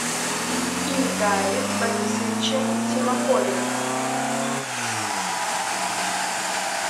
ильдаре борисовиче симакове